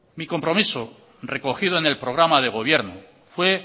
mi compromiso recogido en el programa de gobierno fue